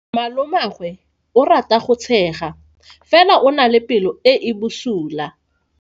Malomagwe o rata go tshega fela o na le pelo e e bosula.